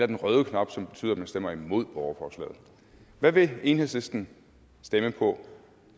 den røde knap som betyder at man stemmer imod borgerforslaget hvad vil enhedslisten stemme på